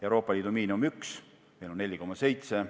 Euroopa Liidu miinimum on 1 eurot, meil on 4,7.